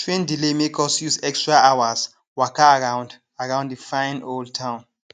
train delay make us use extra hours waka around around di fine old town